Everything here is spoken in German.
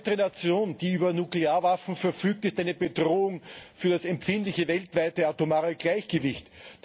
Jede weitere Nation, die über Nuklearwaffen verfügt, ist eine Bedrohung für das empfindliche weltweite atomare Gleichgewicht.